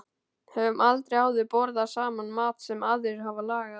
Höfum aldrei áður borðað saman mat sem aðrir hafa lagað.